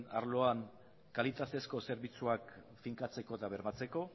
arloan kalitatezko zerbitzuak finkatzeko eta bermatzeko